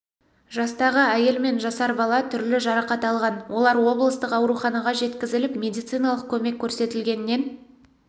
жастағы әйел мен жасар бала түрлі жарақат алған олар облыстық ауруханаға жеткізіліп медициналық көмек көрсетілгеннен